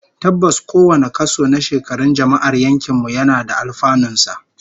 Tabbas, kowane kaso na shekarun jama'ar yankin mu yana da alfanun sa